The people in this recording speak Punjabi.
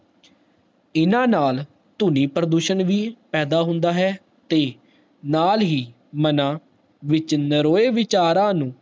ਇਨਾ ਨਾਲ ਧ੍ਵਨਿ ਪ੍ਰਦੂਸ਼ਣ ਵੀ ਪੈਦਾ ਹੁੰਦਾ ਹੈ ਤੇ ਨਾਲ ਹੀ ਮਨਾ ਵਿੱਚ ਨਾਰੋ ਵਿਚਾਰਾ ਨੂੰ